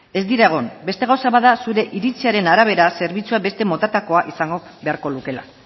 ez dira egon beste gauza bat da zure iritziaren arabera zerbitzua beste motatakoa izango beharko lukeela